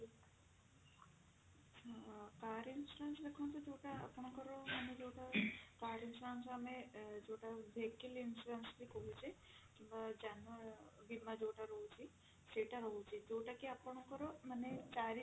ଆଁ car insurance ଦେଖନ୍ତୁ ଯୋଉଟା ଆପଙ୍କର ମାନେ ଯୋଉଟା car insurance ଆମେ ଯୋଉଟା vehicle insurance ବି କହୁଚେ ଯାନର ବୀମା ଯୋଉଟା ରହୁଛି ସେଇଟା ରହୁଛି ଯୋଉଟା କି ଆପଙ୍କର ମାନେ